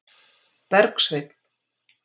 Bergsveinn